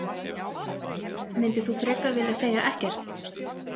Myndir þú frekar vilja segja ekkert?